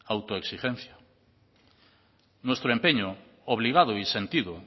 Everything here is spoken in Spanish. autoexigencia nuestro empeño obligado y sentido